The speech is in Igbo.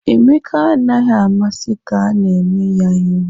Emeka anaghị amasị ka a na-eme ya ihu